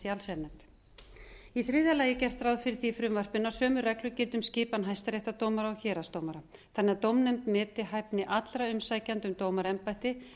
allsherjarnefnd í þriðja lagi er gert ráð fyrir því í frumvarpinu að sömu reglur gildi um skipan hæstaréttardómara og héraðsdómara þannig að dómnefnd meti hæfni allra umsækjenda um dómaraembætti